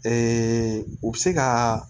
u bɛ se ka